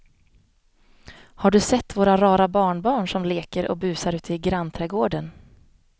Har du sett våra rara barnbarn som leker och busar ute i grannträdgården!